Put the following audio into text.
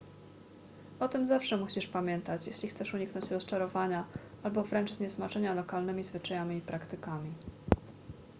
o tym zawsze musisz pamiętać jeśli chcesz uniknąć rozczarowania albo wręcz zniesmaczenia lokalnymi zwyczajami i praktykami